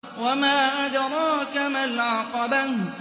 وَمَا أَدْرَاكَ مَا الْعَقَبَةُ